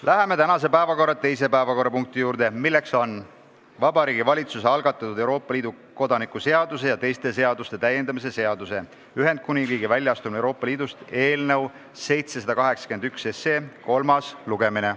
Läheme tänase päevakorra teise punkti juurde, milleks on Vabariigi Valitsuse algatatud Euroopa Liidu kodaniku seaduse ja teiste seaduste täiendamise seaduse eelnõu kolmas lugemine.